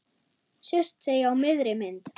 Surtsey á miðri mynd.